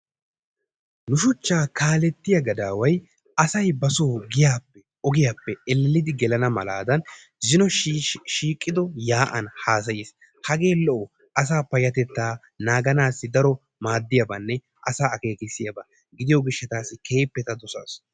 Nu shuchcha kaaletiyaa gadaway asay ba soo giyaappe ogiyaappe elellidi gelana malaadan zino shiiqido yaa'an hassays. Hage lo"o asaa payyatettaa naaganassi daro maaddiyaabanne asa akeekkisiyaaba gidiyo gishshatassi keekippe ta dossaas.